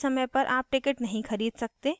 आखिरी समय पर आप ticket नहीं खरीद सकते